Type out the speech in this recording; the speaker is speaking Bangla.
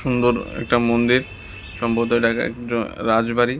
সুন্দর একটা মন্দির সম্ভবত এটা একজন রাজবাড়ী।